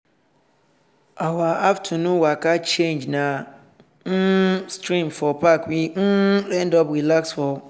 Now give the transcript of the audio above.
one tin be make our plan slow so we come use di time enjoy di national park lookout.